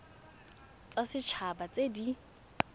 tsa set haba tse di